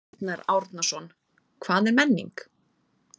Arnar Árnason: Hvað er menning?